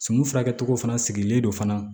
Sumun furakɛcogo fana sigilen don fana